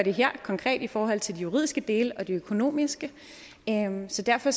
konkret her i forhold til de juridiske dele og det økonomiske så derfor